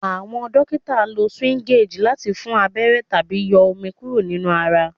Awọn dokita lo syringe lati fun abẹrẹ tabi yọ omi kuro ninu ara